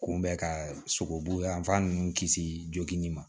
Kunbɛ ka sogobu yan fan ninnu kisi joginni ma